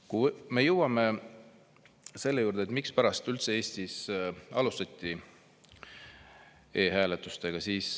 Nüüd jõuan selle juurde, mispärast üldse Eestis alustati e-hääletusega.